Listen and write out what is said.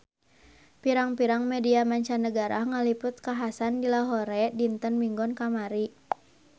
Pirang-pirang media mancanagara ngaliput kakhasan di Lahore dinten Minggon kamari